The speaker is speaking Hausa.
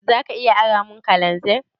Za ka iya aramun kananzir?